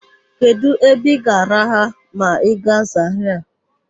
Kedụ ebe ị ga-araha ma ị gaa Zarịa?